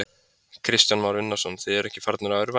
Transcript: Kristján Már Unnarsson: Þið eruð ekki farnir að örvænta?